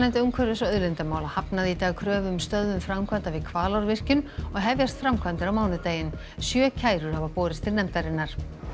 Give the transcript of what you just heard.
umhverfis og auðlindamála hafnaði í dag kröfu um stöðvun framkvæmda við Hvalárvirkjun og hefjast framkvæmdir á mánudaginn sjö kærur hafa borist til nefndarinnar